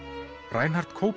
Reinhart